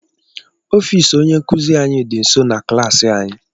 Ọfịs onye ísí anyị dị nso na klaasị anyị.